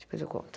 Depois eu conto.